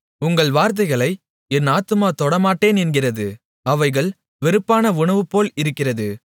உங்கள் வார்த்தைகளை என் ஆத்துமா தொடமாட்டேன் என்கிறது அவைகள் வெறுப்பான உணவுபோல இருக்கிறது